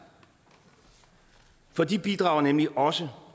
for de bidrager nemlig også